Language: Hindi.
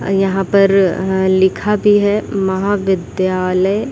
अ यहाँ पर लिखा भी है महाविद्यालय --